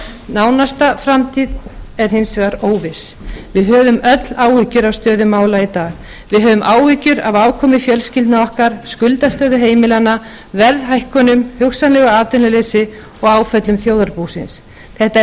nánasta framtíð er hins vegar óviss við höfum öll áhyggjur af stöðu mála í dag við höfum áhyggjur af afkomu fjölskyldna okkar skuldastöðu heimilanna verðhækkunum hugsanlegu atvinnuleysi og áföllum þjóðarbúsins þetta